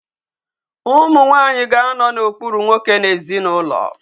Ụmụ nwanyị ga-anọ n'okpuru nwoke n'ezinụlọ.